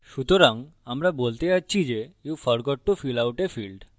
সুতরাং আমরা বলতে যাচ্ছি যে you forgot to fill out a field আপনি field ভরতে ভুলে গেছেন